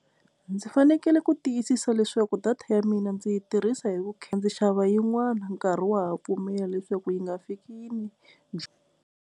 Ndzi fanekele ku tiyisisa leswaku data ya mina ndzi yi tirhisa hi vu ndzi xava yin'wana nkarhi wa ha pfumela leswaku yi nga fikini yi .